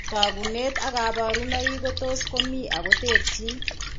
Tagunet ak kabarunaik ko tos komi ak koterchin